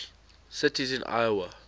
cities in iowa